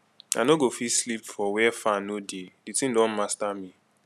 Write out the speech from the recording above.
i no go fit sleep for where fan no dey the thing don master me